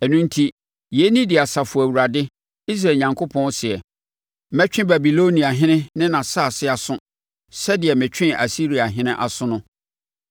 Ɛno enti, yei ne deɛ Asafo Awurade, Israel Onyankopɔn seɛ: “Mɛtwe Babiloniahene ne nʼasase aso sɛdeɛ metwee Asiriahene aso no.